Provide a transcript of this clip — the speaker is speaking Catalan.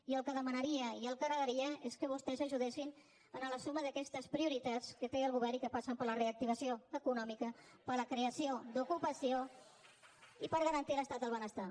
i el que demanaria i el que agrairia és que vostès ajudessin a la suma d’aquestes prioritats que té el govern i que passen per la reactivació econòmica per la creació d’ocupació i per garantir l’estat del benestar